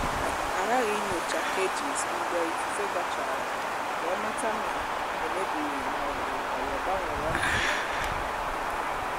a ghaghị inyocha cages mgbe ifufe gachara ka e mata ma e mebiri ma ọ bụ ọyò gbanwere ọnọdụ ya